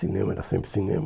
Cinema, era sempre cinema.